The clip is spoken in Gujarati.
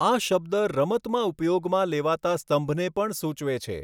આ શબ્દ રમતમાં ઉપયોગમાં લેવાતા સ્તંભને પણ સૂચવે છે.